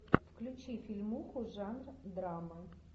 включи фильмуху жанр драма